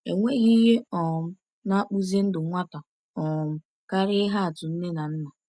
Enweghị ihe um na-akpụzi ndụ nwata um karịa ihe atụ nne na nna.